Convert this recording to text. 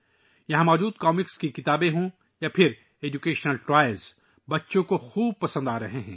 یہاں موجود مزاحیہ کتابیں ہوں یا تعلیمی کھلونے، بچے انہیں بہت پسند کرتے ہیں